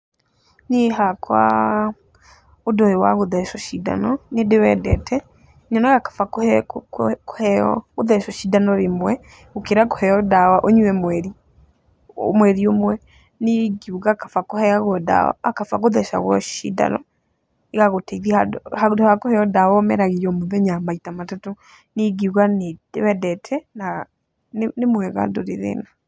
Niĩ hakwa, ũndũ ũyũ wagũthecwo cindano nĩ ndĩwendete nyonaga kaba kuheo, gũthecwo cindano rĩmwe gũkĩra kũheo ndawa ũnyue mweri ũmwe, niĩ ingiuga kaba kuheo ndawa, a, kaba gũthecwo cindano ĩgagũteithia, handũ ha kũheo ndawa ũmeragie o mũthenya maita matatũ. Niĩ ĩngĩuga nĩ ndĩwendete na nĩ mwega ndũrĩ thĩna.